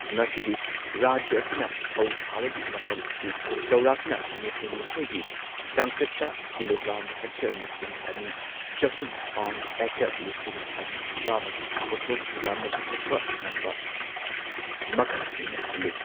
ꯉꯁꯤꯗꯤ ꯔꯥꯖ꯭ꯌ ꯑꯁꯤꯅ ꯐꯧ ꯊꯥꯕꯒꯤ ꯃꯐꯝ ꯑꯁꯤ ꯆꯥꯎꯔꯥꯛꯅ ꯅꯤꯐꯨ ꯅꯤꯊꯣꯏ ꯗꯤ ꯆꯥꯡꯆꯠꯇ ꯀꯤꯂꯣꯒ꯭ꯔꯥꯝ ꯍꯦꯛꯇꯔ ꯂꯤꯁꯤꯡ ꯑꯅꯤ ꯆꯍꯨꯝ ꯄꯥꯎꯟ ꯑꯦꯀꯔ ꯂꯤꯁꯤꯡ ꯑꯅꯤ ꯆꯥꯝꯃ ꯒꯤ ꯄꯣꯠꯊꯣꯛ ꯌꯥꯝꯅ ꯄꯨꯊꯣꯛꯄ ꯉꯝꯕ ꯃꯈꯜꯁꯤꯡꯅ ꯊꯜꯂꯦ꯫